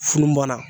Funun bɔ la